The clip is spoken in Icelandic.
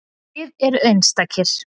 Þið eruð einstakir.